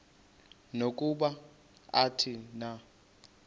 nokuba athini na